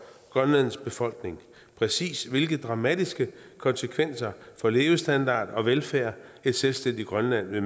grønlands befolkning præcis hvilke dramatiske konsekvenser for levestandard og velfærd et selvstændigt grønland vil